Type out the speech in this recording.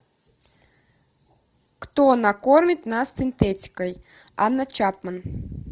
кто накормит нас синтетикой анна чапман